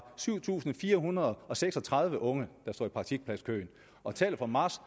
syv tusind fire hundrede og seks og tredive unge står i praktikpladskøen og tallet for marts